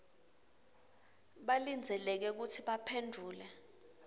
balindzeleke kutsi baphendvule